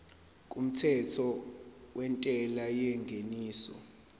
kumthetho wentela yengeniso